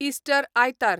Easter आयतार